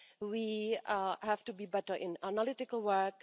We have to be better in analytical work